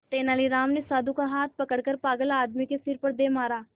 तेनालीराम ने साधु का हाथ पकड़कर पागल आदमी के सिर पर दे मारा